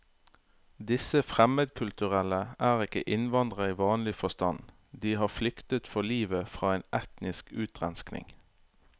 Disse fremmedkulturelle er ikke innvandrere i vanlig forstand, de har flyktet for livet fra en etnisk utrenskning.